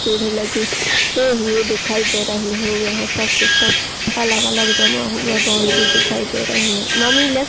पेड़ लगे हुए दिखाई दे रहे है। यह सब सिस्टम अलग-अलग जमा हुए बाउंड्री दिखाई दे रही है ममी ले --